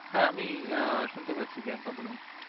হ্যাঁ আমি আহ শুনতে পাচ্ছি প্রিয়াঙ্কা বলুন।